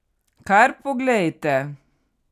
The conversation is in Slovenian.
Kar poglejte!